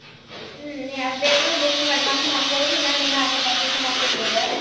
ಹ್ಮ್, ನೀ ಆದ್ ಬೇಕಂದ್ರ booking advance ಮಾಡ್ಕೊಬೋದ್, ಇಲ್ಲಾ ಅಂದ್ರ್ ನೀನ್ ಅಲ್ಲೇ purchase ಮಾಡ್ಕೊಬೋದ.